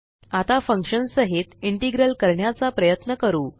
आता फंक्शन साहित इंटेग्रल करण्याचा प्रयत्न करू